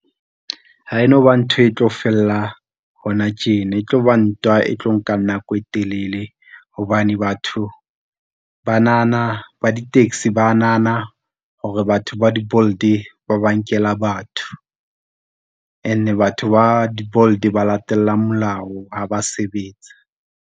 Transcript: Ha e no ba ntho e tlo fella hona tjena, e tloba ntwa e tlo nka nako e telele hobane batho banana ba di-taxi ba nahana hore batho ba di-Bolt ba ba nkela batho and-e batho ba di-Bolt, ba latellang molao ha ba sebetsa.